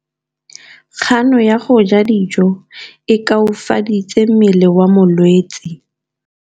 Kganô ya go ja dijo e koafaditse mmele wa molwetse.